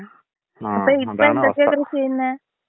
ങാ അതെ.